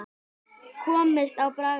Komist á bragðið